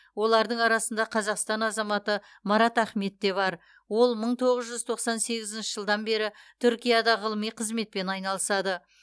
олардың арасында қазақстан азаматы марат ахмет те бар ол мың тоғыз жүз тоқсан сегізінші жылдан бері түркияда ғылыми қызметпен айналысады